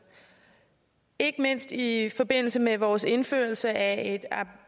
ikke mindst i forbindelse med vores indførelse af